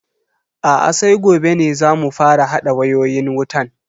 Aa sai gobe ne zamu fara hada wayoyin wutan.